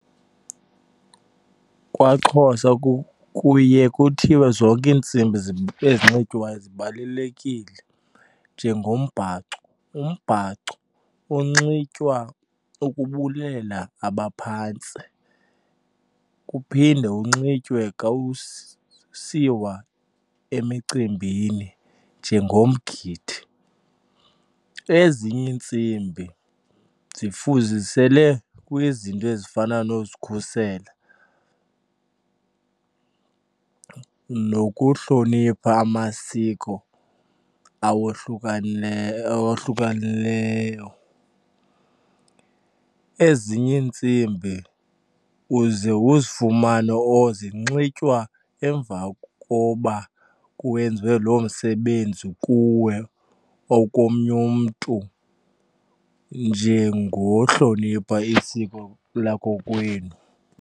KwaXhosa kuye kuthiwe zonke iintsimbi ezinxitywayo zibalulekile njengombhaco. Umbhaco unxitywa ukubulela abaphantsi kuphinde unxitywe xa usiwa emicimbini njengomgidi. Ezinye iintsimbi zifuzisele kwizinto ezifana nozikhusela nokuhlonipha amasiko awohlukeneyo. Ezinye iintsimbi uze uzifumane or zinxitywa emva koba kwenziwe loo msebenzi kuwe or komnye umntu njengohlonipha isiko lakokwenu.